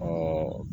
O